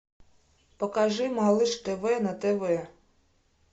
покажи малыш тв на тв